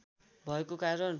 भएको कारण